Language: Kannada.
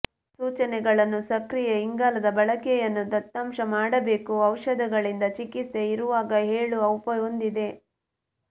ಸೂಚನೆಗಳನ್ನು ಸಕ್ರಿಯ ಇಂಗಾಲದ ಬಳಕೆಯನ್ನು ದತ್ತಾಂಶ ಮಾಡಬೇಕು ಔಷಧಗಳಿಂದ ಚಿಕಿತ್ಸೆ ಇರುವಾಗ ಹೇಳುವ ಉಪ ಹೊಂದಿದೆ